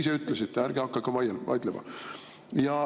Ise ütlesite, ärge hakake vaidlema!